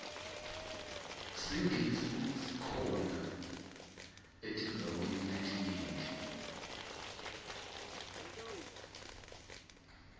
singisi sikhona etindzaweni letinyenti